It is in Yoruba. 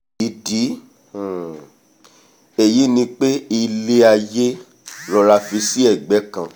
ìdí um èyí ni pé ilé-aiyé rọra fì sí egbẹ́ kan